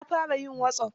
Na fara yin wasop.